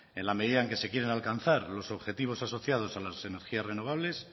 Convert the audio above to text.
en la medida en la que se quieren alcanzar los objetivos asociados a las energías renovables